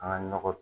An ka nɔgɔ